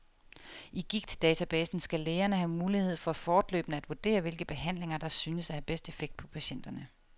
I gigtdatabasen skal lægerne have mulighed for fortløbende at vurdere hvilke behandlinger, der synes at have bedst effekt på patienterne.